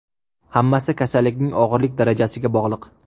Hammasi kasallikning og‘irlik darajasiga bog‘liq.